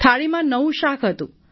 થાળીમાં નવું શાક હતું